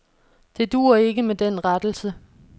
Det duer ikke med den rettelse.